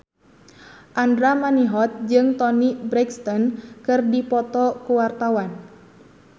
Andra Manihot jeung Toni Brexton keur dipoto ku wartawan